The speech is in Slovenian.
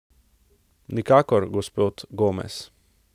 Nikakor, gospod Gomez.